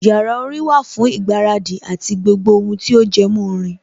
Yàrá orin wà fún ìgbáradì àti gbogbo ohun tí ó jẹmọ́ orin